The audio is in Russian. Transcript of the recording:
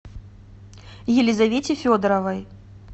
елизавете федоровой